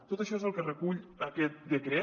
tot això és el que recull aquest decret